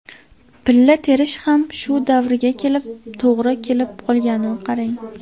Pilla terish ham shu davrga to‘g‘ri kelib qolganini qarang.